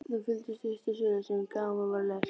Þeim fylgdu stuttar sögur sem gaman var að lesa.